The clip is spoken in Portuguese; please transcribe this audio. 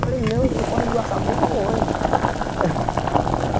Eu falei, não, eu estou correndo do assalto dentro do ônibus.